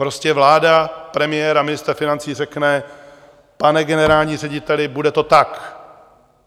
Prostě vláda premiéra a ministra financí řekne: Pane generální řediteli, bude to tak.